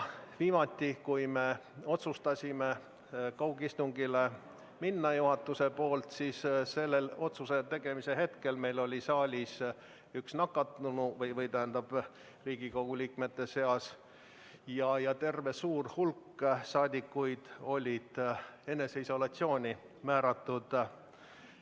Viimati, kui juhatus otsustas üle minna kaugistungile, oli otsuse tegemise hetkel Riigikogu liikmete seas üks nakatunu ja terve hulk rahvasaadikuid oli eneseisolatsiooni määratud.